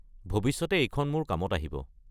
ভৱিষ্যতে এইখন মোৰ কামত আহিব।